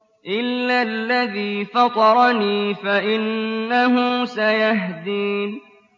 إِلَّا الَّذِي فَطَرَنِي فَإِنَّهُ سَيَهْدِينِ